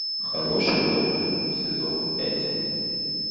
хороший доктор сезон пять